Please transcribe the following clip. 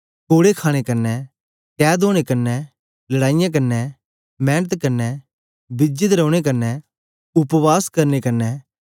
कोड़े खाणे कन्ने कैद ओनें कन्ने लड़ाईयें कन्ने मेंनत कन्ने बिजे दे रौने कन्ने उपवास करने कन्ने